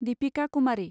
Deepika Kumari